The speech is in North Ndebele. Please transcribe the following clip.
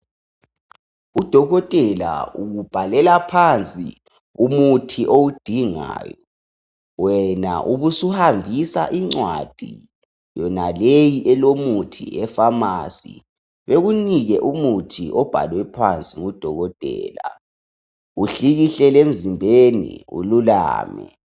Udokotela ukubhalela phansi umuthi owudingayo, wena ubusuhambisa incwadi yonaleyi elomuthi efamasi. Bekunike umuthi obhalwe phansi ngudokotela, uhlikihlele emzimbeni ululame.